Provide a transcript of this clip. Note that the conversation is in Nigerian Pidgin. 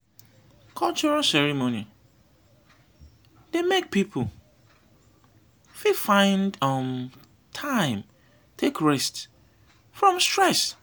cultural ceremony dey make pipo fit find um time take rest from stress